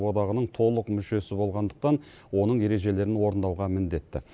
одағының толық мүшесі болғандықтан оның ережелерін орындауға міндетті